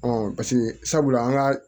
paseke sabula an ka